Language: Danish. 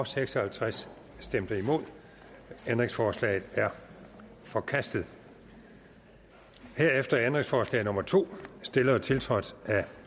seks og halvtreds ændringsforslaget er forkastet herefter er ændringsforslag nummer to stillet og tiltrådt af